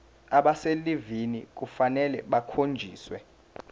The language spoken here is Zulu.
abaselivini kufanele bakhonjiswe